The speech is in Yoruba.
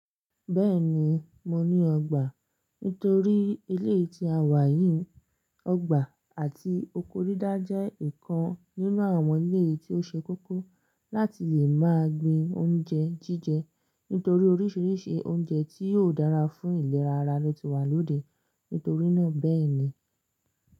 Bẹ́ẹ̀ni, mo ní ọgbà. Nítorí eléyii tí a wà yìí, ọgbà àti oko didá jẹ́ ìkan nínú àwọn eléyi tí ó ṣe kókó láti lè máa gbin oúnjẹ jíjẹ. Nítorí oríṣiríṣi oúnjẹ tí ò dára fún ìlera ara ló ti wà lóde. Nítorí náà bẹ́ẹ̀ ni.